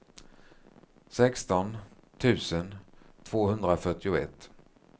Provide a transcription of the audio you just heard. sexton tusen tvåhundrafyrtioett